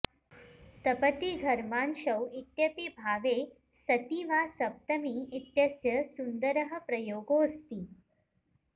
तपति घर्मांशौ इत्यपि भावे सति वा सप्तमी इत्यस्य सुन्दरः प्रयोगोऽस्ति